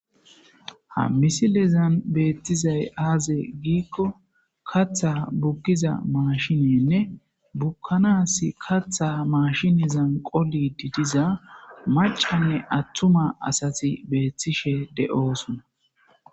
ha misilezan beettizay aaze giikko katha bukkiza maashinenne bukkanaas katha mashinezan qoli didiza macanne attuma asati beethtishe de7oosona